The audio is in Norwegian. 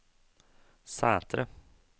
Sætre